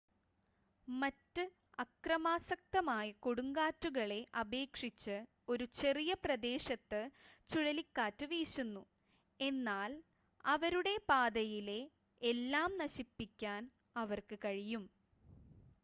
മറ്റ് അക്രമാസക്തമായ കൊടുങ്കാറ്റുകളെ അപേക്ഷിച്ച് ഒരു ചെറിയ പ്രദേശത്ത് ചുഴലിക്കാറ്റ് വീശുന്നു എന്നാൽ അവരുടെ പാതയിലെ എല്ലാം നശിപ്പിക്കാൻ അവർക്ക് കഴിയും